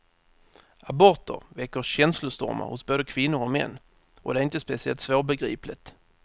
Aborter väcker känslostormar hos både kvinnor och män, och det är inte speciellt svårbegripligt.